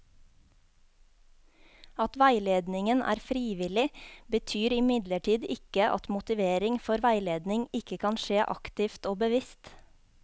At veiledningen er frivillig, betyr imidlertid ikke at motivering for veiledning ikke kan skje aktivt og bevisst.